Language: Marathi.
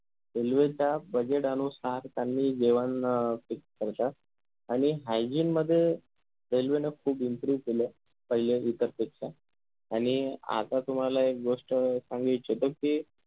railway च्या budget अनुसार त्यांनी जेवण अं fix करता आणि hygiene मध्ये railway न खूप improve केलं पहिले इतर पेक्षा आणि आता तुम्हाला एक गोष्ट सांगायची त ती